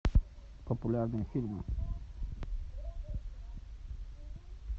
популярные фильмы